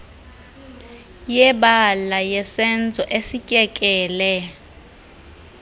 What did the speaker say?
yebala yesenzo esityekele